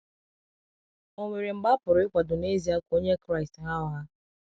Ọ̀ nwere mgbe a pụrụ ịkwadọ n'ezia ka onye Kraịst ghaa ụgha?